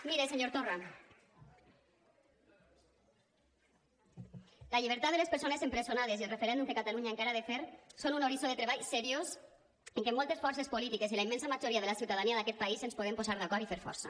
mire senyor torra la llibertat de les persones empresonades i el referèndum que catalunya encara ha de fer són un horitzó de treball seriós en què moltes forces polítiques i la immensa majoria de la ciutadania d’aquest país ens podem posar d’acord i fer força